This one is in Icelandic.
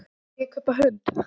Má ég kaupa hund?